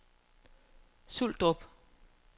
Suldrup